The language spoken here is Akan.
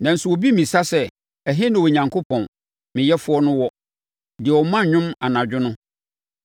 Nanso, obi mmisa sɛ, ‘Ɛhe na Onyankopɔn, me Yɛfoɔ no wɔ, deɛ ɔma nnwom anadwo no,